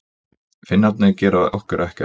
Finnarnir gera okkur ekkert.